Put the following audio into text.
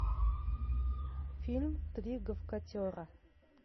фильм три гавкатера